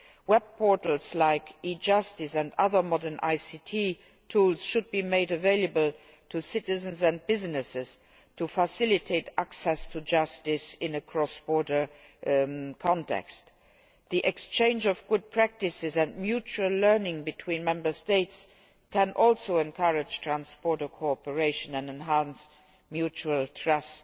Web portals like e Justice and other modern ICT tools should be made available to citizens and businesses to facilitate access to justice in a cross border context. The exchange of good practices and mutual learning between Member States can also encourage trans border cooperation and enhance mutual trust.